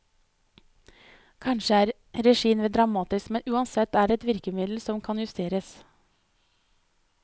Kanskje er regien vel dramatisk, men uansett er det et virkemiddel som kan justeres.